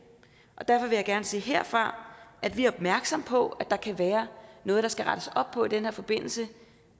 og derfor vil jeg gerne sige herfra at vi er opmærksomme på at der kan være noget der skal rettes op på i den her forbindelse